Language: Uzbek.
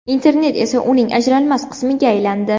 Internet esa uning ajralmas qismiga aylandi.